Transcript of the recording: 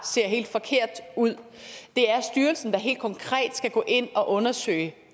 ser helt forkert ud det er styrelsen der helt konkret skal gå ind og undersøge